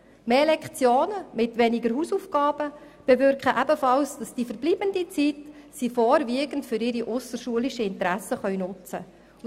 Mehr Lektionen kombiniert mit weniger Hausaufgaben bewirken ebenfalls, dass die Jugendlichen die verbleibende Zeit vorwiegend für ihre ausserschulischen Interessen nutzen können.